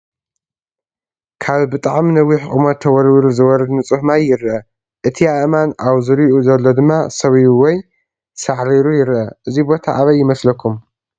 ካብ ብጣዕሚ ነዊሕ ቁመት ተወርዊሩ ዝወርድ ንፁህ ማይ ይረአ፡፡ እቲ ኣእማን ኣብ ዙሪዩኡ ዘሎ ድማ ሰቢቡ ወይ ሳዕሪሩይረአ፡፡ እዚ ቦታ ኣበይ ይመስለኩም?